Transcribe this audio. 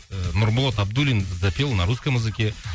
ыыы нұрболат абдуллин запел на русском языке